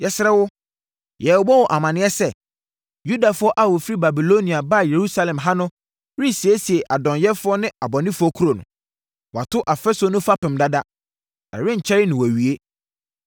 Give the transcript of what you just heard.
Yɛsrɛ wo, yɛrebɔ wo amaneɛ sɛ, Yudafoɔ a wɔfiri Babilonia baa Yerusalem ha no resiesie adɔnyɛfoɔ ne abɔnefoɔ kuro no. Wɔato afasuo no fapem dada, na ɛrenkyɛre na wɔawie.